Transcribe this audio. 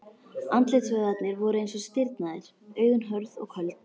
Andlitsvöðvarnir voru eins og stirðnaðir, augun hörð og köld.